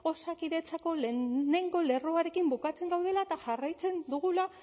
osakidetzako lehenengo lerroarekin bukatzen gaudela eta jarraitzen dugula